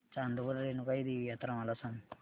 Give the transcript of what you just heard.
चांदवड रेणुका देवी यात्रा मला सांग